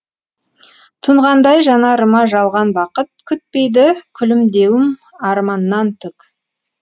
тұнғандай жанарыма жалған бақыт күтпейді күлімдеуім арманнан түк